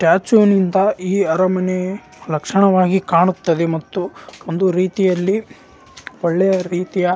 statue ಗಿಂತ ಈ ಅರಮನೆ ಲಕ್ಷಣವಾಗಿ ಕಾಣುತ್ತದೆ ಮತ್ತು ಒಂದು ರೀತಿಯಲ್ಲಿ ಒಳ್ಳೆಯ --